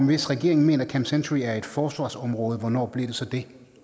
hvis regeringen mener at camp century er et forsvarsområde hvornår blev det så det